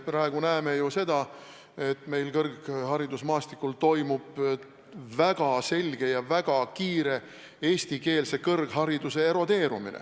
Me praegu näeme ju seda, et kõrgharidusmaastikul toimub väga selge ja väga kiire eestikeelse kõrghariduse erodeerumine.